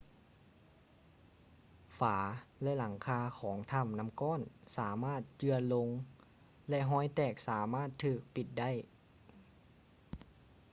ຝາ ແລະ ຫລັງຄາຂອງຖໍ້ານໍ້າກ້ອນສາມາດເຈື່ອນລົງ ແລະ ຮອຍແຕກສາມາດຖືກປິດໄດ້